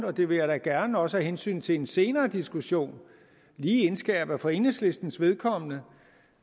og det vil jeg da gerne også af hensyn til en senere diskussion indskærpe at for enhedslistens vedkommende